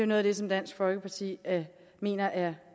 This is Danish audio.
noget af det som dansk folkeparti mener er